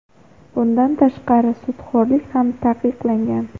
Bundan tashqari, sudxo‘rlik ham taqiqlangan.